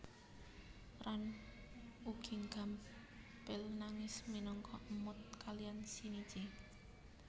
Ran ugi gampel nangis minangka emut kalian Shinichi